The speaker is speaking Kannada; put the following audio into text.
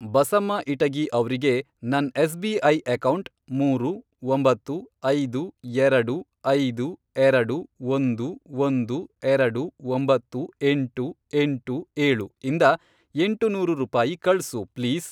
ಬಸಮ್ಮ ಇಟಗಿ ಅವ್ರಿಗೆ ನನ್ ಎಸ್.ಬಿ.ಐ. ಅಕೌಂಟ್, ಮೂರು, ಒಂಬತ್ತು, ಐದು, ಎರಡು, ಐದು, ಎರಡು, ಒಂದು, ಒಂದು, ಎರಡು, ಒಂಬತ್ತು, ಎಂಟು, ಎಂಟು, ಏಳು, ಇಂದ ಎಂಟು ನೂರು ರೂಪಾಯಿ ಕಳ್ಸು ಪ್ಲೀಸ್.